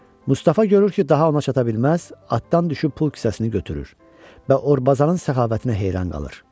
Mustafa görür ki, daha ona çata bilməz, atdan düşüb pul kisəsini götürür və Orbazan-ın səxavətinə heyran qalır.